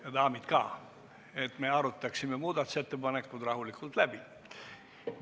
Ja daamid ka, et me saaksime muudatusettepanekud rahulikult läbi arutada.